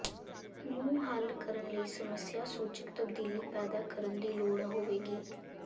ਨੂੰ ਹੱਲ ਕਰਨ ਲਈ ਸਮੱਸਿਆ ਸੂਚਕ ਤਬਦੀਲੀ ਪੈਦਾ ਕਰਨ ਦੀ ਲੋੜ ਹੋਵੇਗੀ